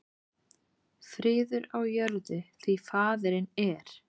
Friður á jörðu, því faðirinn er